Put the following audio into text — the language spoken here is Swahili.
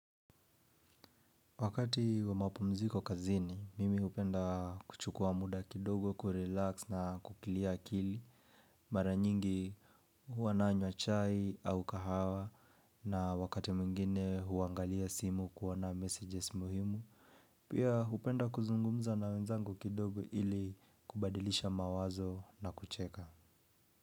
Wakati wa mapumziko kazini, mimi hupenda kuchukua muda kidogo, kurelax na kuclear akili. Mara nyingi huwa nanywa chai au kahawa na wakati mwingine huangalia simu kuona messages muhimu. Pia hupenda kuzungumza na wenzangu kidogo ili kubadilisha mawazo na kucheka.